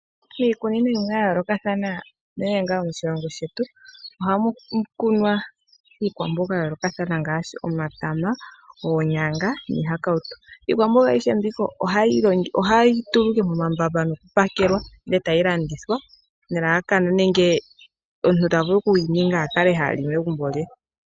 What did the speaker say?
Miikunino yayoolokathana unene yomoshilongo shetu ohamu kunwa iikwamboga yayoolokathana ngaashi omatama, oonyanya niihakawutu. Iikwamboga ayihe ohayi tulwa momambamba etayi pakelwa etayi landithwa po, nenge takala ta li megumbo lye.